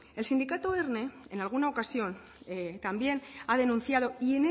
el sindicato erne en alguna ocasión también ha denunciado y